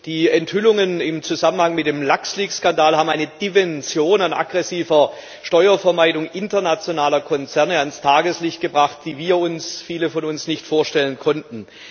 Die Enthüllungen im Zusammenhang mit dem Luxleaks Skandal haben eine Dimension an aggressiver Steuervermeidung internationaler Konzerne ans Tageslicht gebracht, die sich viele von uns nicht vorstellen konnten.